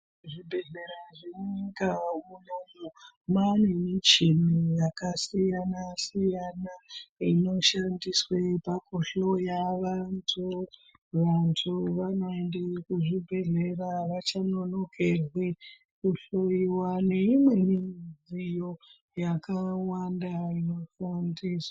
Zvibhedhlera zvemunyika munomu mane michini yakasiyana-siyana, inoshandiswe pakuhloya vantu. Vantu vanoende kuzvibhedhlera havachanonokerwe kuhloiwa neimweni midziyo yakawanda inoshandiswa.